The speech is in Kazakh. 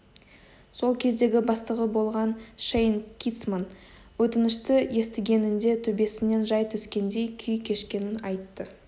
сол кездегі бастығы болған шейн китцман өтінішті естігенінде төбесінен жай түскендей күй кешкенін айтты